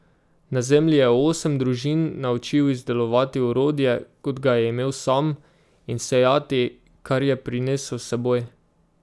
Na Zemlji je osem družin naučil izdelovati orodje, kot ga je imel sam, in sejati, kar je prinesel s seboj.